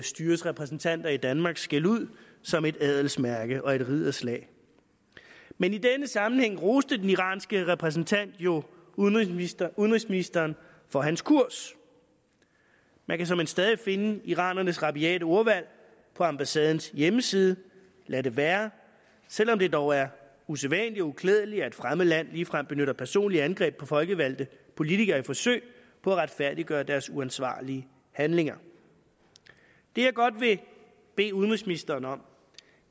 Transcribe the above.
styres repræsentanter i danmarks skældud som et adelsmærke og et ridderslag men i denne sammenhæng roste den iranske repræsentant jo udenrigsministeren udenrigsministeren for hans kurs man kan såmænd stadig finde iranernes rabiate ordvalg på ambassadens hjemmeside lad det være selv om det dog er usædvanligt og uklædeligt at et fremmed land ligefrem benytter personlige angreb på folkevalgte politikere i et forsøg på at retfærdiggøre deres uansvarlige handlinger det jeg godt vil bede udenrigsministeren om